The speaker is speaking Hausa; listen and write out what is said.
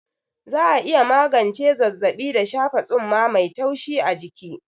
Za'a iya magance zazzaɓi da shafa tsumma mai taushi a jiki.